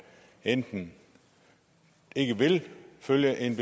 enten ikke vil følge et